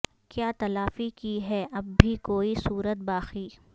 کیا تلافی کی ہے اب بھی کوئی صورت باقی